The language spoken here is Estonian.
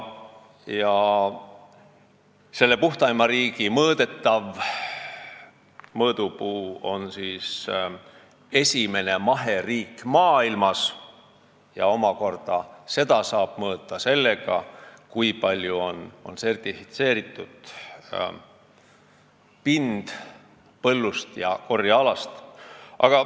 Ja selle puhtaima riigi mõõdupuu on esimene maheriik maailmas, mida saab omakorda mõõta sellega, kui palju on sertifitseeritud pinda põllul ja korjealal.